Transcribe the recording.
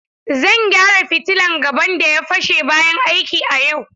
Zan gyara fitilan gaban da ya fashe bayan aiki a yau.